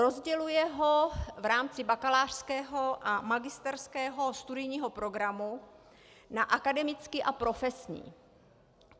Rozděluje ho v rámci bakalářského a magisterského studijního programu na akademický a profesní.